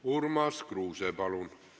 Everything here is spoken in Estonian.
Urmas Kruuse, palun!